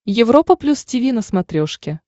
европа плюс тиви на смотрешке